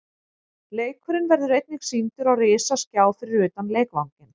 Leikurinn verður einnig sýndur á risaskjá fyrir utan leikvanginn.